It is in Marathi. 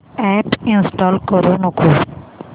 अॅप इंस्टॉल करू नको